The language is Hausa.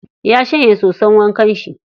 Ya shanya soson wankan shi.